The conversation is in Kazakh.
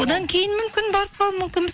одан кейін мүмкін барып қалу мүмкінбіз